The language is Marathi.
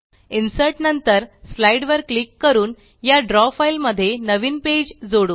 इन्सर्ट नंतर Slideवर क्लिक करून या द्रव फाइल मध्ये नवीन पेज जोडू